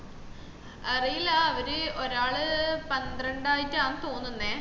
അറിയില്ലാ അവര് ഒരാള് പന്ത്രണ്ട് ആയിട്ടാണ് തോന്നുന്നേയ്